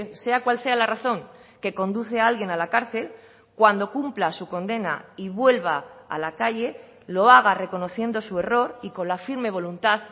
sea cual sea la razón que conduce a alguien a la cárcel cuando cumpla su condena y vuelva a la calle lo haga reconociendo su error y con la firme voluntad